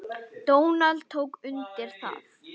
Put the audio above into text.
Donald tók undir það.